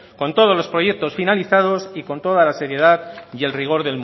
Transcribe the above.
con todos los proyectos finalizados y con todas la seriedad y el rigor